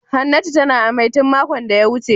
Hannatu tana amai tun makon da ya wuce.